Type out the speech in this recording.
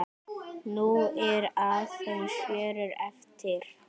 Nú eru aðeins fjórir eftir.